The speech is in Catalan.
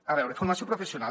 a veure formació professional